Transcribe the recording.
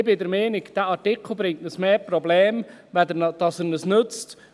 Ich bin der Meinung, dass uns dieser Artikel mehr Probleme bringt, als dass er uns nützt.